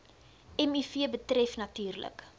miv betref natuurlik